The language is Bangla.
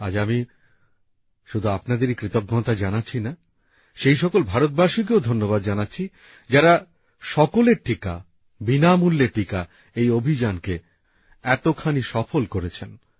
আজ আমি শুধু আপনাদেরই কৃতজ্ঞতা জানাচ্ছি না সেই সকল ভারতবাসীকেও ধন্যবাদ জানাচ্ছি যারা সকলের টিকা বিনামূল্যে টিকা এই অভিযানকে এতখানি সফল করেছেন